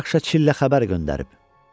Rakşa Çillə xəbər göndərib.